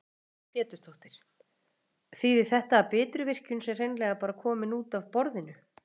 Lillý Valgerður Pétursdóttir: Þýðir þetta að Bitruvirkjun sé hreinlega bara komin út af borðinu?